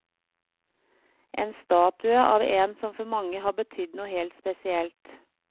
En statue av en som for mange har betydd noe helt spesielt.